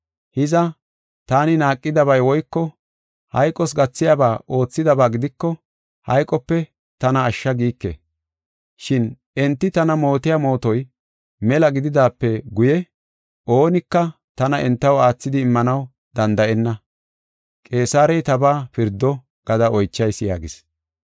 Hiza, taani naaqidabay woyko hayqos gathiyaba oothidaba gidiko hayqope tana ashsha giike. Shin enti tana mootiya mootoy mela gididaape guye oonika tana entaw aathidi immanaw danda7enna. Qeesarey tabaa pirdo gada oychayis” yaagis.